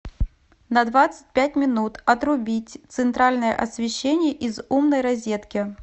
на двадцать пять минут отрубить центральное освещение из умной розетки